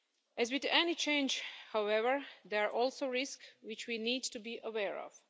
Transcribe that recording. As with any change, however, there are also risks which we need to be aware of.